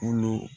Kolo